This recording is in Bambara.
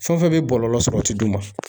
Fɛn fɛn bɛ bɔlɔlɔ sɔrɔ o tɛ d'u ma